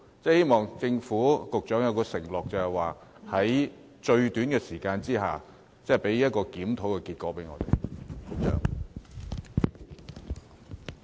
希望政府及局長作出承諾，在最短時間內為我們提供檢討結果。